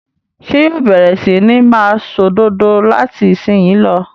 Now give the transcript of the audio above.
Ṣé yóò bẹ̀rẹ̀ sí ní máa ṣòdodo láti ìsìnyín lọ?